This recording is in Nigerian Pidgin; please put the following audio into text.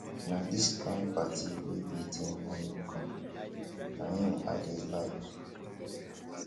na dis kin party wey be till morning come na im i dey like.